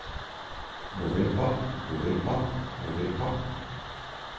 november november november